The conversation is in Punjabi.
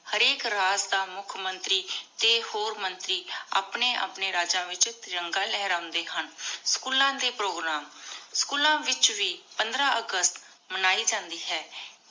ਹਰ ਆਇਕ ਰਾਜ ਮੁਖ ਮੰਤਰੀ ਟੀ ਹੋਰ ਮੰਤਰੀ ਅਪਨੀ ਅਪਨੀ ਰਾਜੀ ਵਿਚ ਤਿਰਾਨਾਗ ਲੇਹ੍ਰਾਂਡੇ ਹਨ ਸ੍ਚੂਲਾਂ ਦੇ ਪ੍ਰੋਗਰਾਮ ਸ੍ਚੂਲਾਂ ਵਿਚ ਵੇ ਪੰਦ੍ਰ ਅਗਸਤ ਮਨਾਈ ਜਾਂਦੀ ਹੈ